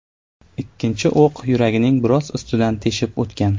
Ikkinchi o‘q yuragining biroz ustidan teshib o‘tgan.